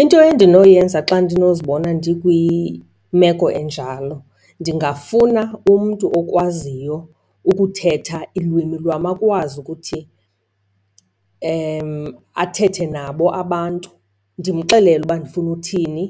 Into endinoyenza xa ndinozibona ndikwimeko enjalo, ndingafuna umntu okwaziyo ukuthetha ilwimi lwam akwazi ukuthi athethe nabo abantu. Ndimxelele uba ndifuna uthini